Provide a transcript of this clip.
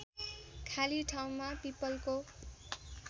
खाली ठाउँमा पीपलको